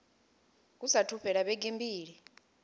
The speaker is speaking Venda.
hu saathu fhela vhege mbili